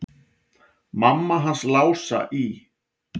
Mamma hans Lása í